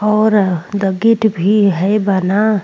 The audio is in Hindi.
और द गेट भी है बना।